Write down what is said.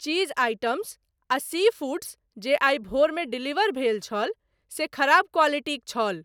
चीज items आ sea foods जे आइ भोरमे डिलीवर भेल छल से खराब क्वालिटीक छल।